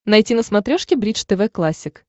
найти на смотрешке бридж тв классик